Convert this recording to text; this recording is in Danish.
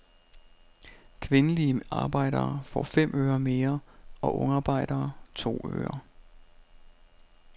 Kvindelige arbejdere får fem øre mere og ungarbejdere to øre.